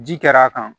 Ji kɛr'a kan